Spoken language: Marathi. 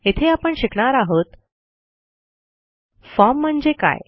येथे आपण शिकणार आहोत फॉर्म म्हणजे काय